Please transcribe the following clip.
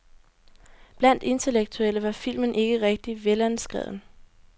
Blandt intellektuelle var filmen ikke rigtig velanskreven.